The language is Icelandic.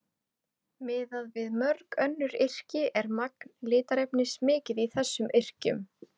miðað við mörg önnur yrki er magn litarefnis mikið í þessum yrkjum